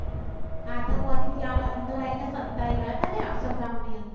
આતંકવાદી ત્યાં અંદર આવી ને સંતાઈ ગયા તા ને અક્ષરધામ ની અંદર.